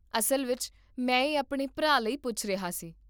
ਅਸਲ ਵਿੱਚ, ਮੈਂ ਇਹ ਆਪਣੇ ਭਰਾ ਲਈ ਪੁੱਛ ਰਿਹਾ ਸੀ